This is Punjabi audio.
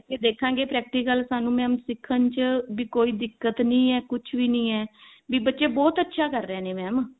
ਤੇ ਦੇਖਾਂਗੇ practical ਸਾਨੂੰ mam ਸਿਖਣ ਚ ਵੀ ਕੋਈ ਦਿੱਕਤ ਨਹੀ ਹੈ ਕੁਛ ਨਹੀ ਹੈ ਵੀ ਬੱਚੇ ਬਹੁਤ ਅੱਛਾ ਕਰ ਰਹੇ ਨੇ mam